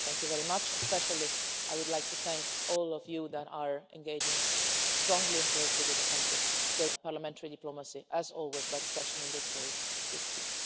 Thank you very much, and especially I would like to thank all of you who are engaging strongly and closely with the country parliamentary diplomacy as always, but especially in this case is key.